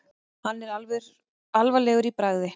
Hann er alvarlegur í bragði.